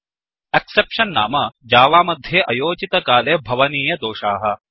exceptions नाम जावामध्ये अयोचितकाले भवनीय दोषाः